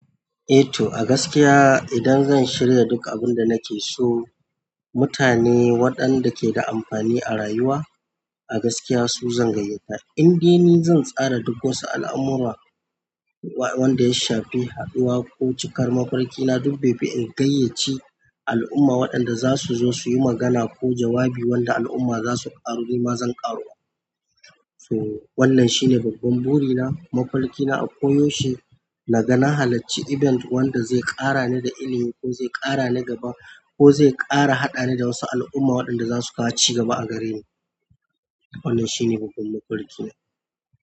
Eh to a gaskiya idan zan shirya duk abin da nake so, mutane waɗanda ke da amfani a rayuwa a gaskiya su zan gayyata. Inde ni zan tsara duk wasu al'amurra wanda ya shafi haɗuwa ko cikar mafarki na duk baifi in gayyaci al'umma waɗanda za su zo su yi magana ko jawabi wanda al'umma za su ƙaru ni ma zan ƙaru. To wannan shine babban buri na, mafarki na a koyaushe na ga na halacci event wanda zai ƙara ni da ilimi ko zai ƙara ni gaba ko zai ƙara haɗa ni da wasu al'umma waɗanda za su kawo ci gaba a gare ni. Wannan shine babban mafarki na.